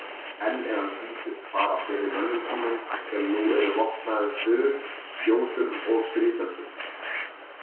Enn er hann sýndur fara fyrir mönnum sínum sem nú eru vopnaður spjótum og stríðsöxum.